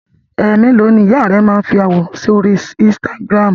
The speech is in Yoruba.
Ẹ̀ mélòó ni ìyá rẹ máa ń fi àwòrán sí orí Instagram?